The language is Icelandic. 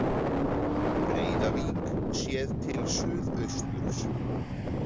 Breiðavík séð til suðausturs.